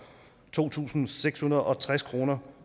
to tusind seks hundrede og tres kroner